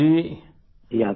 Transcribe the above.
जी हाँ सर